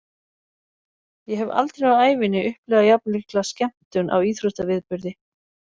Ég hef aldrei á ævinni upplifað jafnmikla skemmtun á íþróttaviðburði.